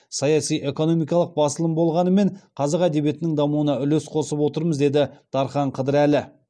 саяси экономикалық басылым болғанымен қазақ әдебиетінің дамуына үлес қосып отырмыз деді дархан қыдырәлі